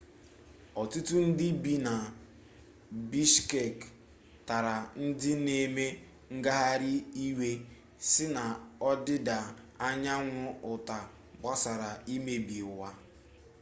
otutu ndi bi na bishkek tara ndi na-eme ngaghari iwe si na odida anyanwu uta gbasara imebi iwu